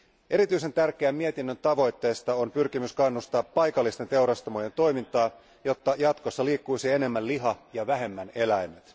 Erityisen tärkeä mietinnön tavoitteista on pyrkimys kannustaa paikallisten teurastamojen toimintaa, jotta jatkossa liikkuisi enemmän liha ja vähemmän eläimet.